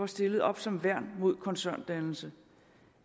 stillet op som værn mod koncerndannelse